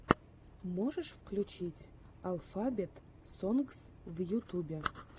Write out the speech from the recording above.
можешь включить алфабет сонгс в ютюбе